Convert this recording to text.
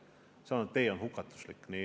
See tee on hukatuslik.